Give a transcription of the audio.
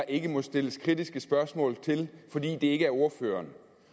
ikke må stilles kritiske spørgsmål til fordi det ikke er ordføreren